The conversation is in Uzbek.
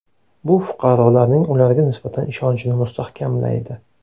Bu fuqarolarning ularga nisbatan ishonchini mustahkamlaydi.